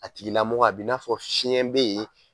A tigilamɔgɔ a b'i n'a fɔ fiɲɛ be ye